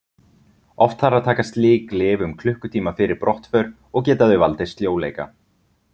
Oft þarf að taka slík lyf um klukkutíma fyrir brottför og geta þau valdið sljóleika.